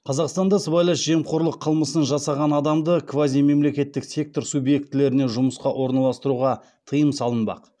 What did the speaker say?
қазақстанда сыбайлас жемқорлық қылмысын жасаған адамды квазимемлекеттік сектор субъектілеріне жұмысқа орналастыруға тыйым салынбақ